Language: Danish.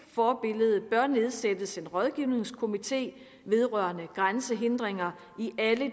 forbillede bør nedsættes en rådgivningskomité vedrørende grænsehindringer